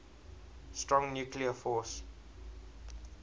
strong nuclear force